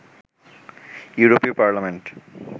ইউরোপীয় পার্লামেন্ট